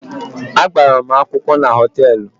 A gbara mụ akwụkwọ na họtelụ.